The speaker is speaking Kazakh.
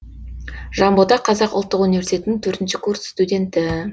жанбота қазақ ұлттық университетінің төртінші курс студенті